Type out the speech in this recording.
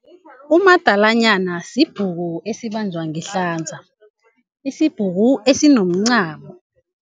Umgadalanyana sibhuku esibanjwa ngehlanza, isibhuku esinomncamo.